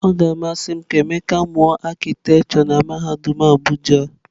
Ọ ga-amasị m ka Emeka mụọ arkitekture na mahadum Abuja.